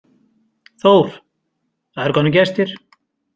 Þór, það eru komnir gestir.